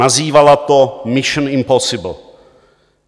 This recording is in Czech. Nazývala to Mission: Impossible.